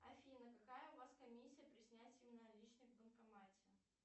афина какая у вас комиссия при снятии наличных в банкомате